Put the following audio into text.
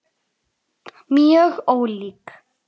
Mjög ólík.